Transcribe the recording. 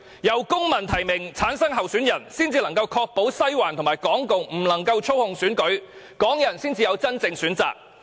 由公民提名產生候選人，才能夠確保"西環"及港共不能夠操控選舉，這樣港人才會有真正的選擇。